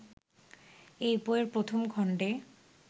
এই বইয়ের প্রথম খণ্ডে